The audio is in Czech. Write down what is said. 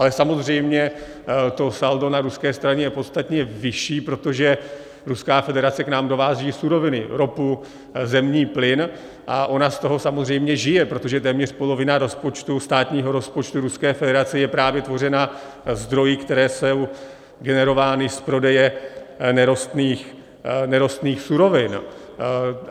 Ale samozřejmě to saldo na ruské straně je podstatně vyšší, protože Ruská federace k nám dováží suroviny, ropu, zemní plyn a ona z toho samozřejmě žije, protože téměř polovina státního rozpočtu Ruské federace je právě tvořena zdroji, které jsou generovány z prodeje nerostných surovin.